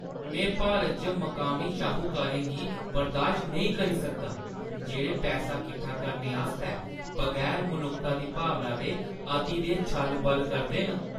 में भारत च मकामी शाहुकारें गी बर्दाश्त नेईं करी सकदा जेह्ड़े पैसा कट्ठा करने आस्तै बगैर मनुक्खता दी भावना दे अति दे छल-बल करदे न।